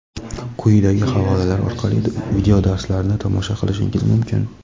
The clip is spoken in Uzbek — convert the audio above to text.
Quyidagi havolalar orqali videodarslarni tomosha qilishingiz mumkin.